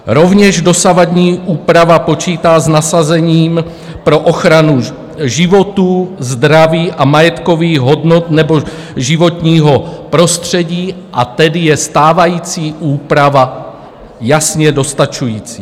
Rovněž dosavadní úprava počítá s nasazením pro ochranu životů, zdraví a majetkových hodnot nebo životního prostředí, a tedy je stávající úprava jasně dostačující.